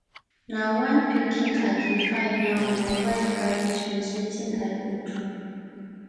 na one pikin i dey find now my wife carry twins wetin i go do